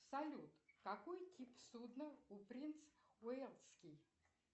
салют какой тип судна у принц уэльский